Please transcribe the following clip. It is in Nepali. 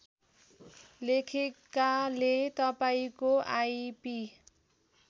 लेखेकाले तपाईँको आइपी